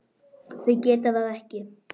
Þau geta það ekki.